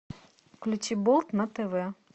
включи болт на тв